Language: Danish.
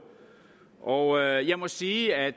og jeg må sige at